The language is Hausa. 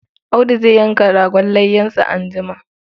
Audu zai yanka ragon layyansa anjima.